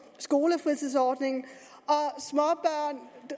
skolefritidsordningen